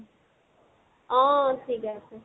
অহ। ঠিকে আছে